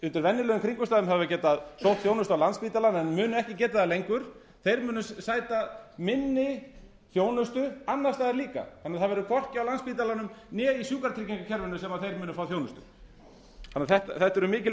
undir venjulegum kringumstæðum hafa getað sótt þjónustu á landspítalann en munu ekki geta það lengur þeir munu sæta minni þjónustu annars staðar líka þannig að það verður hvorki á landspítalanum né í sjúkratryggingakerfinu sem þeir munu fá þjónustu þetta eru mikil